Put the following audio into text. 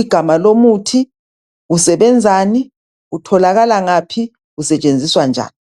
igama lomuthi, usebenzani, utholakala ngaphi usetshenziswa njani.